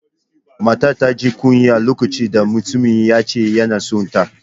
Matar ta ji kunya lokacin da mutumin ya ce yana son ta